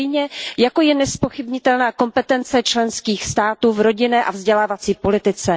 Stejně jako je nezpochybnitelná kompetence členských států v rodinné a vzdělávací politice.